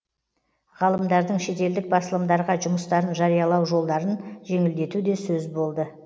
ғалымдардың шетелдік басылымдарға жұмыстарын жариялау жолдарын жеңілдету де сөз болды